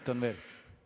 Selge!